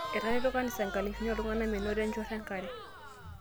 Etareto kanisa nkalifuni oo ltung'ana menoto enchorro enkare